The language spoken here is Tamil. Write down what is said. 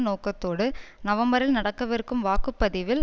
நோக்கத்தோடு நவம்பரில் நடக்கவிருக்கும் வாக்கு பதிவில்